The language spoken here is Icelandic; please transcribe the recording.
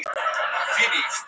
Sigbjartur, hringdu í Snorra.